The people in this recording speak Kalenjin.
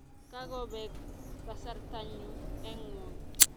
Kakobek kasarta nyu eng ngony.